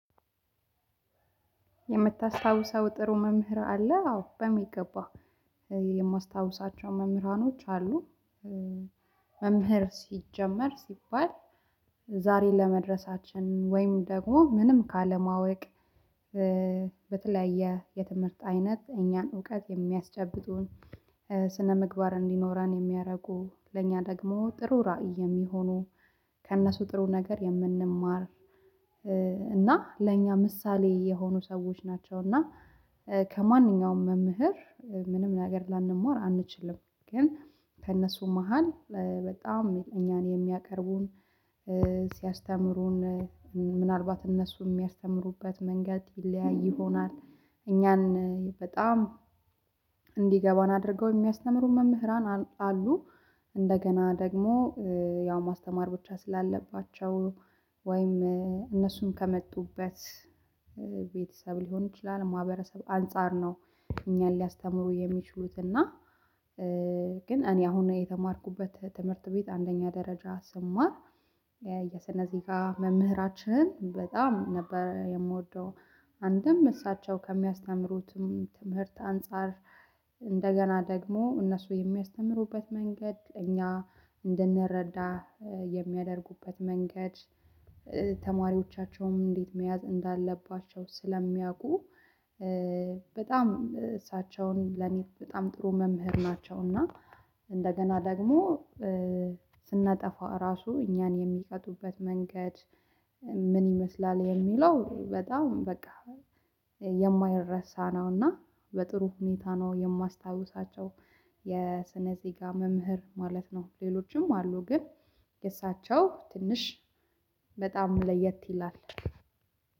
የምታስታውሰው ጥሩ መምህር አለ አዎ በሚገባ የማስታውሳቸው መምህራኖች አሉ። መምህር ሲጀመር ሲባል ዛሬ ለመድረሳችን ወይም ደግሞ ምንም ካለማወቅ በተለያየ የትምህርት አይነት እኛን እውቀት የሚያስጨብጡን ስነምግባር እንዲኖረን የሚያደርጉ ለእኛ ደግሞ ጥሩ ራዕይ የሚሆኑ ከእነሱ ጥሩ ነገር የምንማር እና ለእኛ ምሳሌ የሆኑ ሰዎች ናቸው። እና ከማንኛውም መምህር ምንም ነገር ላንማር አንችልም ግን ከእነሱ መሃል በጣም እኛን የሚያቀርቡን ሲያስተምሩን ምናልባት እነሱ የሚያስተምሩበት መንገድ ይለያይ ይሆናል። እኛን በጣም እንዲገባን አድርገው የሚያስተምሩ መምህራን አሉ። እንደገና ደግሞ ያው ማስተማር ብቻ ስላለባቸው ወይም እነሱን ከመጡበት ቤተሰብ ሊሆን ይችላል ማህበረሰብ አንፃር ነው። እኛን ሊያስተምሩ የሚችሉት እና ግን እኔ አሁን የተማርኩበት ትምህርት ቤት አንደኛ ደረጃ ስማር የስነ ዜጋ መምህራችንን በጣም ነበር የምወደው። አንድም እሳቸው ከሚያስተምሩትም ትምህርት አንፃር እንደገና ደግሞ እነሱ የሚያስተምሩበት መንገድ እኛ እንድንረዳ የሚያደርጉበት መንገድ። ተማሪዎቻቸውንም እንዴት መያዝ እንዳለባቸው ስለሚያውቁ በጣም እሳቸውን ለኔ በጣም ጥሩ መምህር ናቸውና። እና እንደገና ደግሞ ስናጠፋ ራሱ እኛን የሚቀጡበት መንገድ ምን ይመስላል የሚለው በጣም በቃ የማይረሳ ነው። እና በጥሩ ሁኔታ ነው የማስታውሳቸው የስነ ዜጋ መምህር ማለት ነው። ሌሎችም አሉ ግን እሳቸው ትንሽ በጣም ለየት ይላል።